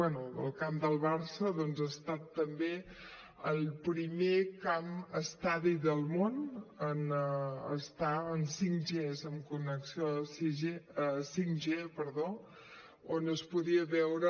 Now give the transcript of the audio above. bé el camp del barça doncs ha estat també el primer camp estadi del món en estar en 5g amb connexió 5g on es podia veure